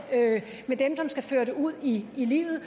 med dem som skal føre det ud i livet